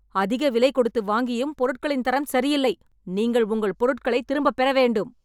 அதிக விலை கொடுத்து வாங்கியும் பொருட்களின் தரம் சரியில்லை. நீங்கள் உங்கள் பொருட்களைத் திரும்பப் பெற வேண்டும்.